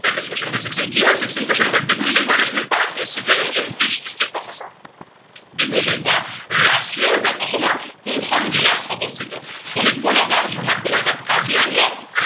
that is question number sixteen কি হয় sixteen question number Dibru Saikhowa national park is situated in which district in Assam, Dibru Saikhowa ৰাষ্ট্ৰীয় উদ্য়ান অসমৰ কোনখন জিলাত অৱস্থিত। শোণিতপুৰ, নগাওঁ, যোৰহাট, গোলাঘাট, কাৰ্বিআংলং